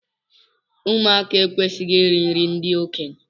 Ụmụaka ekwesịghị iri nri ndị okenye.